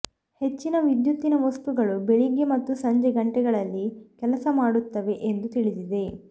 ಹೆಚ್ಚಿನ ವಿದ್ಯುತ್ತಿನ ವಸ್ತುಗಳು ಬೆಳಿಗ್ಗೆ ಮತ್ತು ಸಂಜೆ ಗಂಟೆಗಳಲ್ಲಿ ಕೆಲಸ ಮಾಡುತ್ತವೆ ಎಂದು ತಿಳಿದಿದೆ